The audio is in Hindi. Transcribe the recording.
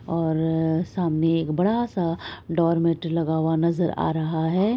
और सामने एक बड़ा सा डोरमेट लगा हुआ नजर आ रहा है।